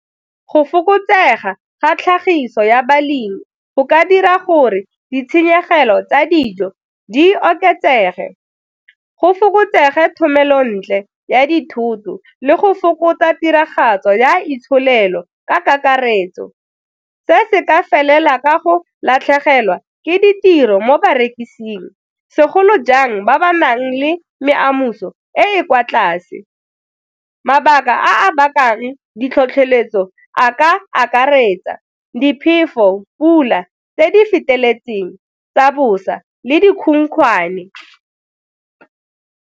Go fokotsega ga tlhagiso ya balemi go ka dira gore ditshenyegelo tsa dijo di oketsege go fokotsege thomelontle ya dithoto le go fokotsa tiragatso ya itsholelo ka kakaretso, se se ka felela ka go latlhegelwa ke ditiro mo barekising, segolo jang ba ba nang le meamuso e e kwa tlase. Mabaka a a bakang ditlhotlheletso a ka akaretsa diphefo pula tse di feteletseng tsa bosa le dikhukhwane.